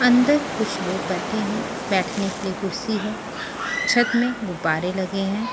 अंदर कुछ लोग बैठे हैं बैठने के लिए कुर्सी है छत में गुब्बारे लगे हैं ।